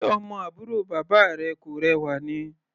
Ṣe ọmọ àbúrò bàbá rẹ kò rẹwà ni?